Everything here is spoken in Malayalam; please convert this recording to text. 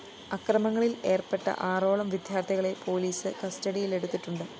അക്രമങ്ങളില്‍ ഏര്‍പ്പെട്ട ആറോളം വിദ്യാര്‍ത്ഥികളെ പോലീസ് കസ്റ്റഡിയിലെടുത്തിട്ടുണ്ട്